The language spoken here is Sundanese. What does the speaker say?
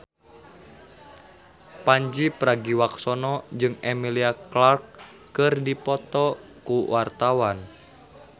Pandji Pragiwaksono jeung Emilia Clarke keur dipoto ku wartawan